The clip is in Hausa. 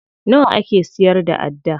Nawa ake siyar da adda?